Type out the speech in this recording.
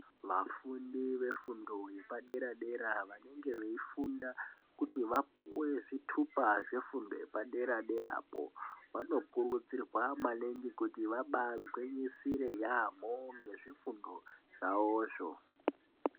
Vafundi vefundo yepadera dera vanenge veifunda kuti vapuwe zvithupa zvefundo yepaderapo vanokurudzirwa maningi kuti zvabaa agwinyisire yeyamho nezvifundo zvavo zvo.